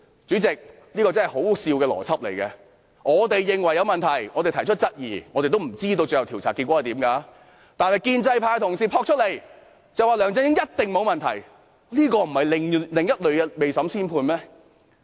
主席，這個邏輯真是可笑，我們認為有問題，提出質疑，我們也不知道最後的調查結果為何，但建制派同事說梁振英一定沒有問題，這不是另類的未審先判嗎？